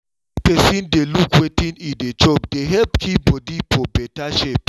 make person dey look wetin e dey chop dey help keep body for better shape